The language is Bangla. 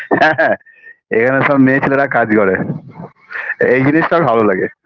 হ্যাঁ হ্যাঁ এইখানে সব মেয়ে ছেলেরা কাজ করে এই জিনিসটা ভালো লাগে